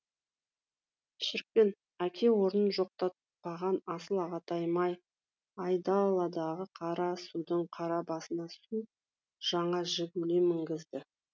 шіркін әке орнын жоқтатпаған асыл ағатайым ай айдаладағы қарасудың қара басына су жаңа жигули мінгізді